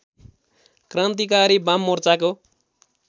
क्रान्तिकारी वाममोर्चाको